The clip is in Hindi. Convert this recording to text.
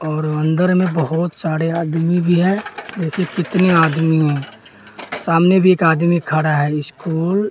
और अंदर में बहोत सारे आदमी भी हैं जैसे कितने आदमी हैं सामने भी एक आदमी खड़ा है स्कूल --